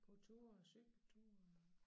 Gå tur og cykle tur og